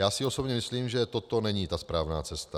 Já si osobně myslím, že toto není ta správná cesta.